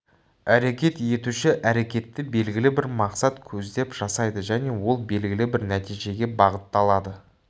әрекет етуші әрекетті белгілі бір мақсат көздеп жасайды және ол белгілі бір нәтижеге бағытталады